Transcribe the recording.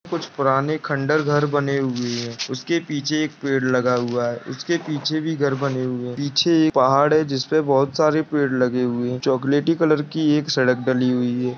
कुछ पुराने खंडर घर बने हुए हैं उसके पीछे एक पेड़ लगा हुआ है। उसके पीछे भी घर बने हुए हैं पीछे एक पहाड़ है जिस पर बोहोत सारे पेड़ लगे हुए हैं। चॉकलेटी कलर की एक सड़क डली हुई है।